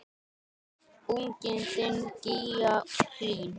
Unginn þinn, Gígja Hlín.